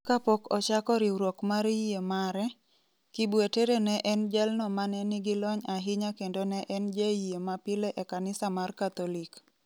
Kapok ochako riwruok mar yie mare, Kibwetere ne en jalno mane nigi lony ahinya kendo ne en jayie ma pile e Kanisa mar Katholik.